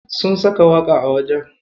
Sun saka waƙa a wajen.